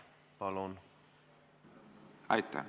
Palun!